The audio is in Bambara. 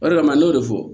O de kama ne y'o de fɔ